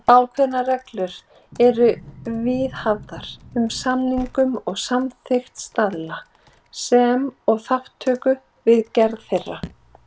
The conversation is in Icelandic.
Ákveðnar reglur eru viðhafðar um samningu og samþykkt staðla, sem og þátttöku við gerð þeirra.